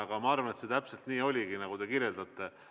Aga ma arvan, et see täpselt nii oligi, nagu te kirjeldate.